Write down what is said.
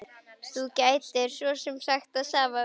Þú gætir svo sem sagt það sama við mig.